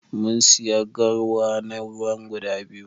mun siya garwa na ruwa guda biyu.